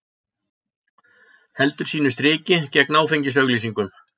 Heldur sínu striki gegn áfengisauglýsingum